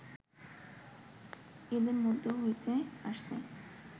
এদের মধ্য হতেই আসছে